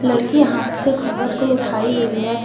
लड़की हाथ से घूंघट को उठाई हुई है।